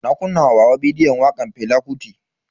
Na kunna wa baba bidiyon wakan Fela Kuti.